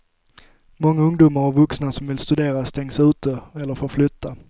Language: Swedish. Många ungdomar och vuxna som vill studera stängs ute eller får flytta.